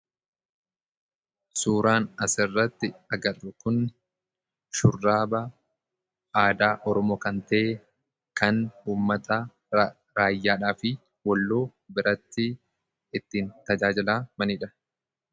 Suuraan asirratti agarru kun shurraaba aada oromookanta'e kan ummata raayyaadhaafi walloo biratti ittiin tajaajila maniidha